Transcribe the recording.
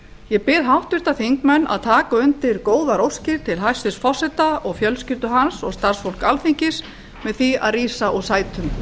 ég bið háttvirta alþingismenn að taka undir góðar óskir til hæstvirts forseta og fjölskyldu hans og starfsfólks alþingis með því að rísa úr sætum